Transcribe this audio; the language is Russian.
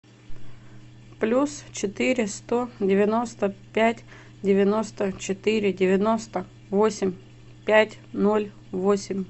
плюс четыре сто девяносто пять девяносто четыре девяносто восемь пять ноль восемь